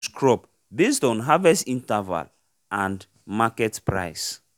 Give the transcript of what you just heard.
chose crop basd on harvest interval and market price